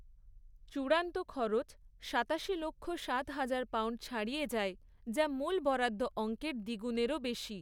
চূড়ান্ত খরচ সাতাশি লক্ষ, সাত হাজার পাউণ্ড ছাড়িয়ে যায়, যা মূল বরাদ্দ অঙ্কের দ্বিগুণেরও বেশি।